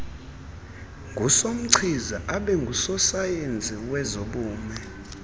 ngusomachiza abengusosayensi wezobume